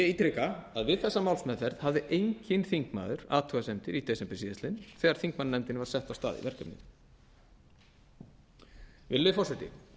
ítreka að við þessa málsmeðferð hafði enginn þingmaður athugasemdir í desember síðastliðnum þegar þingmannanefndin var sett af stað í verkefnið virðulegi forseti